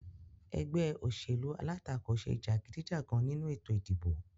Egbé òṣèlú alátakò se jàgídíjàgan nínu ètò ìdìbò